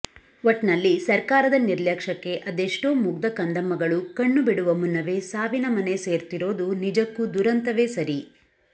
ಒಟ್ನಲ್ಲಿ ಸರ್ಕಾರದ ನಿರ್ಲಕ್ಷಕ್ಕೆ ಅದೆಷ್ಟೋ ಮುಗ್ದ ಕಂದಮ್ಮಗಳು ಕಣ್ಣು ಬಿಡುವ ಮುನ್ನವೇ ಸಾವಿನ ಮನೆ ಸೇರ್ತಿರೋದು ನಿಜಕ್ಕೂ ದುರಂತವೇ ಸರಿ